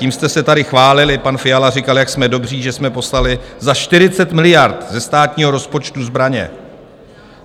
Tím jste se tady chválili, pan Fiala říkal, jak jsme dobří, že jsme poslali za 40 miliard ze státního rozpočtu zbraně.